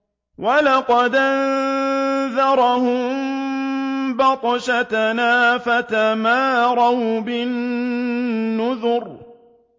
وَلَقَدْ أَنذَرَهُم بَطْشَتَنَا فَتَمَارَوْا بِالنُّذُرِ